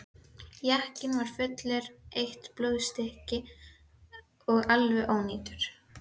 Jakkinn var allur eitt blóðstykki og alveg ónýtur.